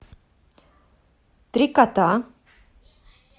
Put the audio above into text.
три кота